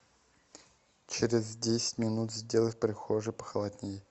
через десять минут сделай в прихожей похолоднее